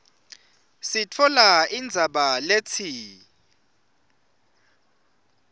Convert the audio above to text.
sitfola indzaba letsi